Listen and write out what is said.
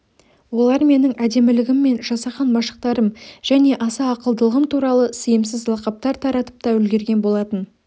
олар менің әдемілігім мен жасаған машықтарым және аса ақылдылығым туралы сиымсыз лақаптар таратып та үлгірген болатын